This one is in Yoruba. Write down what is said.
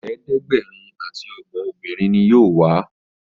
ẹ̀ẹ́dẹ̀gbẹ̀rin ati ogbon obìrin ní yóò wá.